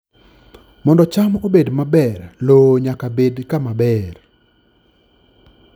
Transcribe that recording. Mondo cham obed maber, lowo nyaka bed kama ber.